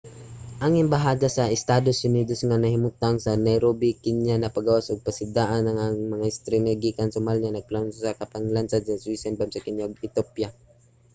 ang embahada sa estados unidos nga nahimutang sa nairobi kenya nagpagawas ug pasidaan nga ang mga ekstremista gikan somalia nagplano sa usa ka paglansad nga suicide bomb sa kenya ug ethiopia